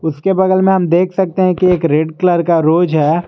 उसके बगल में हम देख सकते हैं कि एक रेड कलर का रोज है।